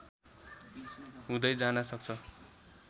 हुँदै जान सक्छ